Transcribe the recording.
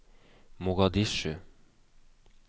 Mogadishu